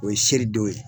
O ye seridon ye